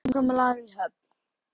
Samkomulag í höfn?